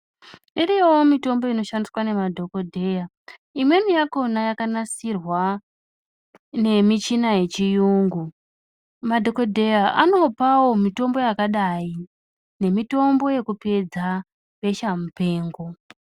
Iriyowo mitombo inoshandiswa ngemadhokodheya. Imweni yakona yakanasirwa nemichini yechiyungu madhokodheya anopawo mitombo yakadai nemitombo yekupedza besha mupengo.